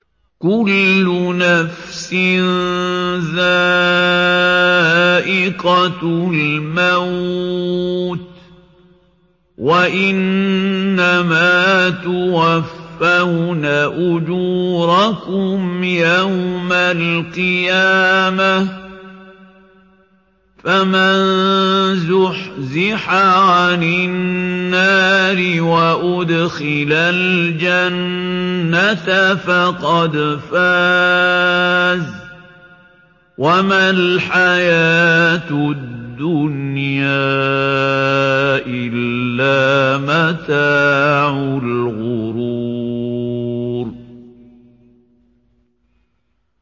كُلُّ نَفْسٍ ذَائِقَةُ الْمَوْتِ ۗ وَإِنَّمَا تُوَفَّوْنَ أُجُورَكُمْ يَوْمَ الْقِيَامَةِ ۖ فَمَن زُحْزِحَ عَنِ النَّارِ وَأُدْخِلَ الْجَنَّةَ فَقَدْ فَازَ ۗ وَمَا الْحَيَاةُ الدُّنْيَا إِلَّا مَتَاعُ الْغُرُورِ